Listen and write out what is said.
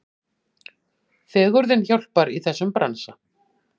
Fegurðin hjálpar í þessum bransa.